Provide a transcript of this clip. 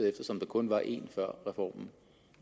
eftersom der kun var en før reformen